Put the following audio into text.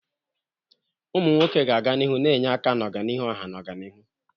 Ụmụ nwoke ga-aga n'ihu na-enye aka n'ọganihu ọha na ọganihu.